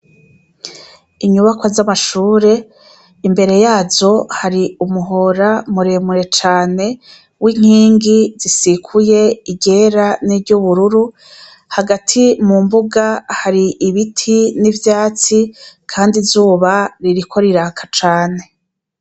Inyubakwa z'amashure , imbere yazo hari umuhora muremure cane w' inkingi zisikuye iryera n' iry' ubururu, hagati mu mbuga hari ibiti n' ivyatsi kandi izuba ririko riraka cane.